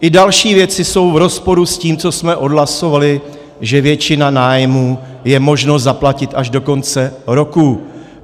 I další věci jsou v rozporu s tím, co jsme odhlasovali, že většinu nájmu je možno zaplatit až do konce roku.